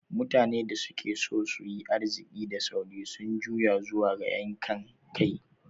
Mutanen da suke so su yi arziki da sauri sun juya zuwa ga yankan kai.